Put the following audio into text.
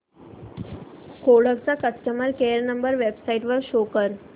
Kodak चा customer care number website वर शोध